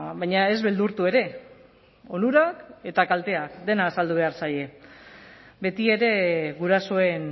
baina ez beldurtu ere onurak eta kalteak dena azaldu behar zaie betiere gurasoen